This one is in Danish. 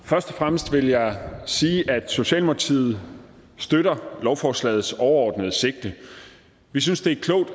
først og fremmest vil jeg sige at socialdemokratiet støtter lovforslagets overordnede sigte vi synes det